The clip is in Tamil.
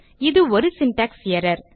இது ஒரு சின்டாக்ஸ் எர்ரர்